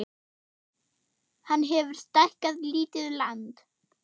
Hann hefur stækkað lítið land